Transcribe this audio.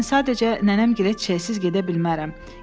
Mən sadəcə nənəmgilə çeçsiz gedə bilmərəm.”